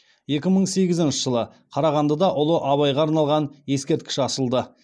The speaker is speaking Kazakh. екі мың сегізінші жылы қарағандыда ұлы абайға арналған ескерткіш ашылды